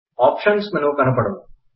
options menu కనపడును